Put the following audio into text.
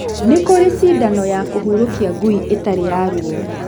Nĩ kũrĩ cindano ya kũhurokia ngui ĩtarĩ ya rũo.